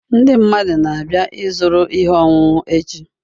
Ndị mmadụ na-abịa ịzụrụ ihe ọṅụṅụ echi